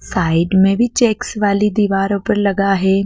Side में भी checks वाली दीवारों पर लगा है।